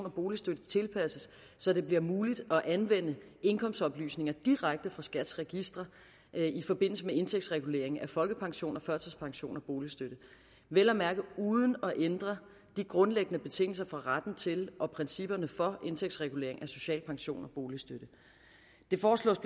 og boligstøtte tilpasses så det bliver muligt at anvende indkomstoplysninger direkte fra skats registre i forbindelse med indtægtsregulering af folkepension og førtidspension og boligstøtte vel at mærke uden at ændre de grundlæggende betingelser for retten til og principperne for indtægtsregulering af social pension og boligstøtte det foreslås